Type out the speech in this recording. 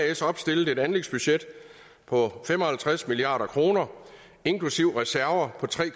as opstillet et anlægsbudget på fem og halvtreds milliard kroner inklusive reserver på tre